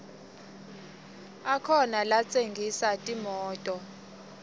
akhona latsengisa timoto